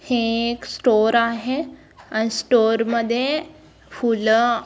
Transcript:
हे एक स्टोर आहे आणि स्टोर मध्ये फुल --